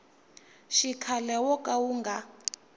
xikhale wo ka wu nga